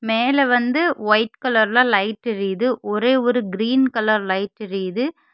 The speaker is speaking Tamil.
மேல வந்து ஒயிட் கலர்ல லைட் எரியுது ஒரே ஒரு கிரீன் கலர் லைட் எரியுது.